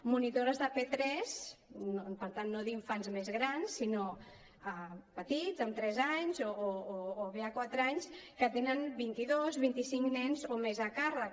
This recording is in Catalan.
monitores de p3 per tant no d’infants més grans sinó petits amb tres anys o bé de quatre anys que tenen vint i dos vint i cinc nens o més a càrrec